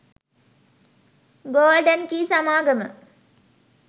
golden key සමාගම